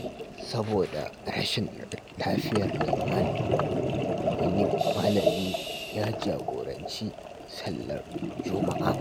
Saboda rashin lafiyar liman, wani malami ya jagoranci sallar Juma’a.